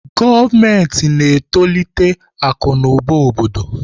Gọọmenti na-etolite akụ na ụba obodo.